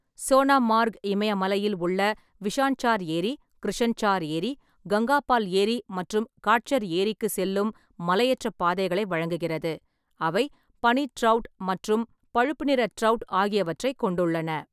சோனாமார்க் இமயமலையில் உள்ள விஷான்சார் ஏரி, கிருஷன்சார் ஏரி, கங்காபால் ஏரி மற்றும் காட்சர் ஏரிக்கு செல்லும் மலையேற்ற பாதைகளை வழங்குகிறது, அவை பனி ட்ரவுட் மற்றும் பழுப்பு நிற ட்ரௌட் ஆகியவற்றைக் கொண்டுள்ளன.